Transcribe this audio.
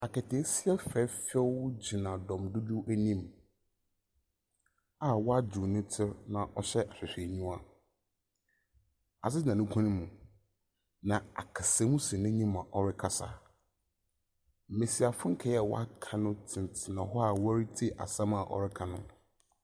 Aketseesia fɛɛfɛw gyina dɔm dodow enyim a ɔadwow ne tsir na ɔhyɛ ahwehwɛnyiwa. Adze da ne kɔn mu. Na aksamu si n'enyim a ɔrekasa. Mbesiafo nkaa a wɔaka tenatena hɔ a wɔretsie asɛm a wɔreka no.